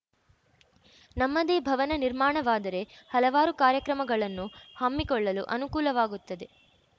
ನಮ್ಮದೇ ಭವನ ನಿರ್ಮಾಣವಾದರೆ ಹಲವಾರು ಕಾರ್ಯಕ್ರಮಗಳನ್ನು ಹಮ್ಮಿಕೊಳ್ಳಲು ಅನುಕೂಲವಾಗುತ್ತದೆ